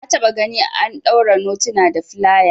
Na taba gani an daure notuna da filaya